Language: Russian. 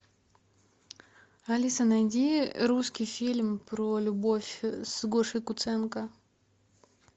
алиса найди русский фильм про любовь с гошей куценко